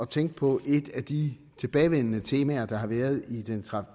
tænke på et af de tilbagevendende temaer der har været i